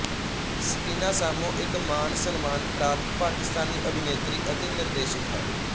ਸਕੀਨਾ ਸਾਮੋ ਇੱਕ ਮਾਨਸਨਮਾਨ ਪ੍ਰਾਪਤ ਪਾਕਿਸਤਾਨੀ ਅਭਿਨੇਤਰੀ ਅਤੇ ਨਿਰਦੇਸ਼ਕ ਹੈ